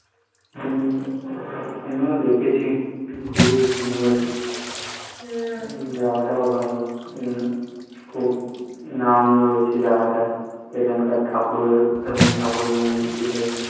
হম আমিও দেখেছি খুবই সুন্দর, জায়গাটা ও ভালো খুব নাম রয়েছে জায়গাটার, ওখানকার ঠাকুরের এবং ঠাকুরের মন্দিরের